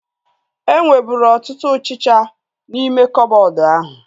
E nweburu ọtụtụ ọchịchịa n'ime koboodu ahu